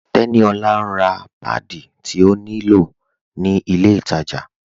Teníolá n rá pádí tí ó ní lọ̀ ni ilẹ̀ ìtajá